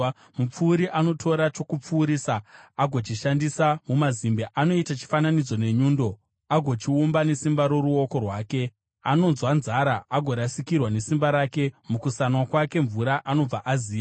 Mupfuri anotora chokupfurisa agochishandisa mumazimbe; anoita chifananidzo nenyundo, agochiumba nesimba roruoko rwake. Anonzwa nzara agorasikirwa nesimba rake. Mukusanwa kwake mvura anobva aziya.